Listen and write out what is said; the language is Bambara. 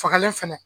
Fagalen fɛnɛ